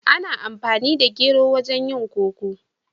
Ana amfani da gero wajen yin koko.